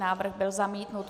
Návrh byl zamítnut.